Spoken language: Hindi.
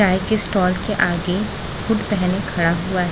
चाय के स्टॉल के आगे हुड पहने खड़ा हुआ--